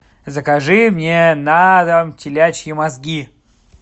закажи мне на дом телячьи мозги